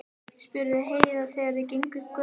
spurði Heiða þegar þau gengu upp götuna.